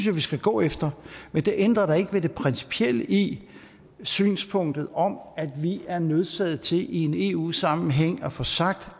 vi skal gå efter men det ændrer da ikke ved det principielle i synspunktet om at vi er nødsaget til i en eu sammenhæng at få sagt